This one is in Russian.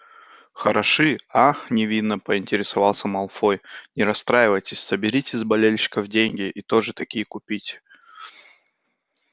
хороши ах невинно поинтересовался малфой не расстраивайтесь соберите с болельщиков деньги и тоже такие купите